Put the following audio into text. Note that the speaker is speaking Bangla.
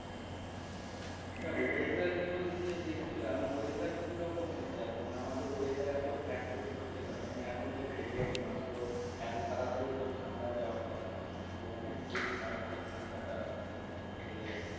আচ্ছা weather news নিয়ে দেখছিলাম weather কি রকম হচ্ছে এখন মানে আমাদের weather এতো fluctuate করছে কেন? মানে এখন তো February মাস তো এতো তাড়াতাড়ি তো ঠান্ডা যাওয়ার কথা নয় কিন্তু অনেক বেশি তাড়াতাড়ি ঠান্ডাটা মানে চলে যাচ্ছে।